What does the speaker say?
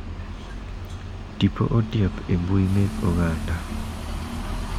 Tipo otiap embui mek oganda.